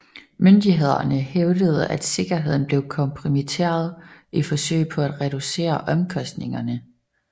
Myndighederne hævdede at sikkerheden blev kompromitteret i forsøg på at reducere omkostningerne